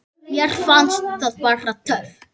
Mér fannst það bara. töff.